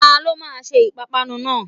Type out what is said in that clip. Ta ló máa se ìpápánu náà?